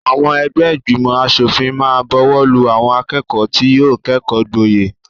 Àwọn ẹgbẹ́ ìgbìmọ̀-aṣòfìn máa bọwọ́lù àwọn akẹ́kọ̀ọ́ tí yóò kẹ́kọ̀ọ́ gboyè.